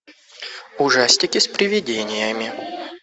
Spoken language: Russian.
ужастики с приведениями